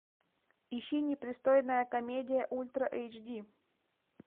ищи непристойная комедия ультра эйч ди